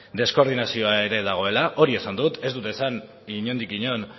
deskoordinazioa ere dagoela hori esan dut ez dut esan inondik inon